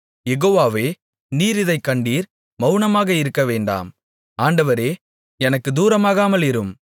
யெகோவாவே நீர் இதைக் கண்டீர் மவுனமாக இருக்கவேண்டாம் ஆண்டவரே எனக்குத் தூரமாகாமலிரும்